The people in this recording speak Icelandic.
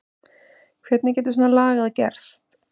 Hvernig getur svona lagað gerst?